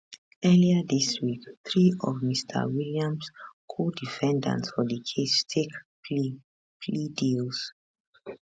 earlier dis week three of mr williams codefendants for di case take plea plea deals